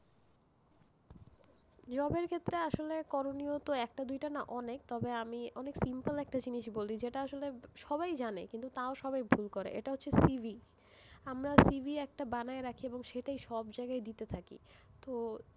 Job এর ক্ষেত্রে আসলে তো করণীয় একটা দুইটা না, অনেক, তবে আমি অনেক simple একটা জিনিস বলি, যেটা আসলে সবাই জানে, কিন্তু তাও সবাই ভুল করে, এটা হচ্ছে CV আমরা CV একটা বানায়ে রাখি এবং সেটাই সব জায়গায় দিতে থাকি, তো,